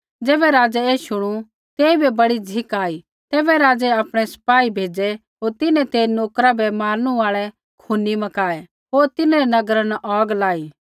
ज़ैबै राज़ै ऐ शुणु तेइबै बड़ी झ़िक आई तैबै राज़ै आपणै सिपाही भेज़ै होर तिन्हैं ते नोकरा बै मारनू आल़ै खूनी मकाऐ होर तिन्हरै नगरा न औग लाई